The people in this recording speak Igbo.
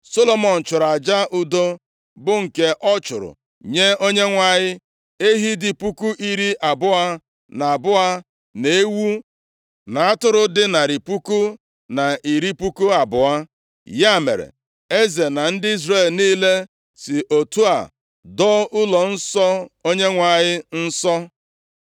Solomọn chụrụ aja udo, bụ nke ọ chụrụ nye Onyenwe anyị. Ehi dị puku iri abụọ na abụọ, na ewu na atụrụ dị narị puku na iri puku abụọ. Ya mere, eze na ndị Izrel niile si otu a doo ụlọnsọ Onyenwe anyị nsọ.